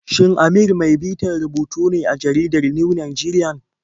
Shin Amir mai bitar rubutu ne a jaridar New Nigerian?